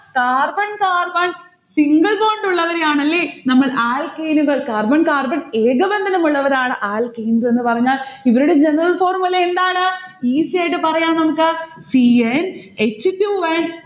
carbon carbon single bond ഉള്ളവരെയാനല്ലേ നമ്മൾ alkyne നുകൾ carbon carbon ഏകബന്ധനമുള്ളവരാണ് നമ്മൾ alkynes ന്ന് പറഞ്ഞാൽ. ഇവരുടെ general formula എന്താണ്? easy യായിട്ട് പറയാം നമ്മുക്ക്. c n h two n